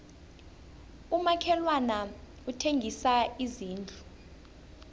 umakhelwani uthengisa izindlu